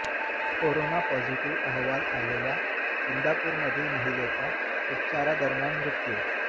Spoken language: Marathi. कोरोना पॉझिटिव्ह अहवाल आलेल्या इंदापूरमधील महिलेचा उपचारादरम्यान मृत्यू